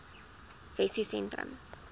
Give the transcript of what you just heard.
wessosentrum